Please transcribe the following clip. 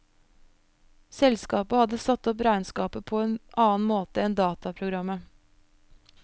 Selskapet hadde satt opp regnskapet på en annen måte enn dataprogrammet.